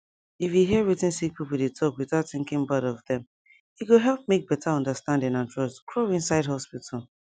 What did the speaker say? if you hear wetin sick people dey talk without thinking bad of dem e go help make better understanding and trust grow inside hospital